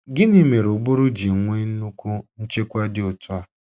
Gịnị mere ụbụrụ ji nwee nnukwu nchekwa dị otu a?